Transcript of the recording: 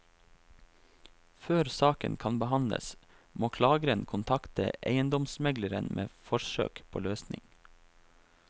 Før saken kan behandles, må klageren kontakte eiendomsmegleren med forsøk på løsning.